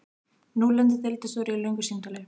Nú lendir deildarstjóri í löngu símtali.